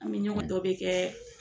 An mi ɲɔgɔn dɔ bi kɛ